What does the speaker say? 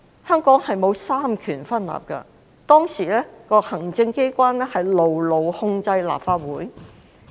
香港並沒有三權分立，當時的行政機關牢牢控制着立法局。